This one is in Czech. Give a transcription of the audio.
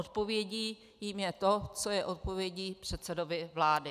Odpovědí jí je to, co je odpovědí předsedovi vlády.